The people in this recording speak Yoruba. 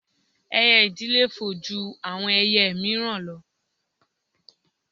Ẹyẹ ìdì le fò ju àwọn ẹyẹ míìràn lọ